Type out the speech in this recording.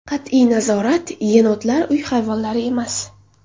Qat’iy nazorat Yenotlar – uy hayvonlari emas.